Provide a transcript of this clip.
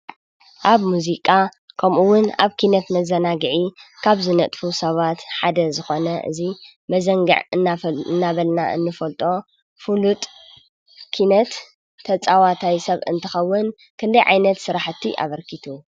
ኣብ ሙዚቃ ከምኡ እውን ኣብ ኪነት መዘናግዒ ካብ ዝነጥፉ ሰባት ሓደ ዝኾነ እዚ መዘንግዕ እናበልና እንፈልጦ ፍሉጥ ኪነት ተጫዋታይ ሰብ እንትኸውን ክንደይ ዓይነት ስረሓቲ ኣበርኪቱ ?